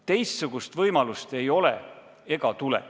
Teistsugust võimalust ei ole ega tule.